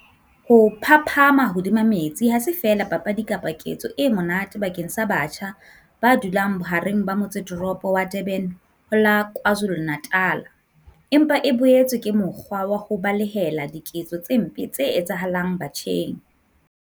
Ho phaphama hodima metsi ha se feela papadi kapa ketso e monate bakeng sa batjha ba dulang bohareng ba motseteropo wa Durban ho la KwaZulu-Natal empa e boetse ke mokgwa wa ho balehela diketso tse mpe tse etsahalang batjheng.